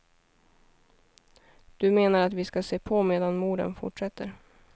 Du menar att vi ska se på medan morden fortsätter.